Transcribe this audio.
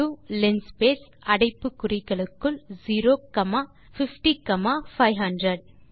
xlinspace அடைப்பு குறிகளுக்குள் 0 comma 50 comma 500